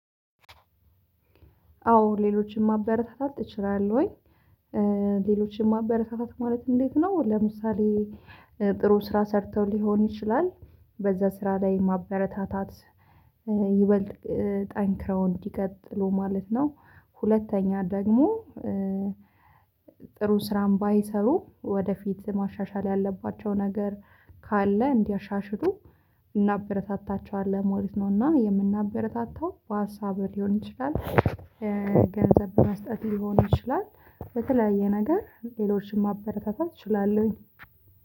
አዎ ሌሎችን ማበረታታት እችላለሁኝ። ሌሎችን ማበረታታት ማለት እንዴት ነው? ለምሳሌ ጥሩ ስራ ሰርተው ሊሆን ይችላል በዛ ስራ ላይ ማበረታታት ይበልጥ ጠንክረው እንዲቀጥሉ ማለት ነው። ሁለተኛ ደግሞ ጥሩ ስራም ባይሰሩ ወደፊት ማሻሻል ያለባቸው ነገር ካለ እንዲያሻሽሉ እናበረታታቸዋለን ሞሪት ነው እና የምናበረታታው በሀሳብ ሊሆን ይችላል። ገንዘብ በመስጠት ሊሆን ይችላል። በተለያየ ነገር ሌሎችን ማበረከታት እችላለሁኝ